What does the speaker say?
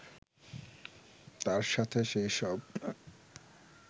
তার সাথে সেই সব